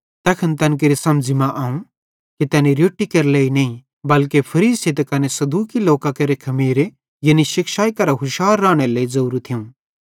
तैखन तैन केरि समझ़ी मां आव कि तैनी रोट्टी केरे लेइ नईं बल्के फरीसी ते कने सदूकी लोकां केरे शिक्षाई करां हुशार रानेरे लेइ ज़ोरू थियूं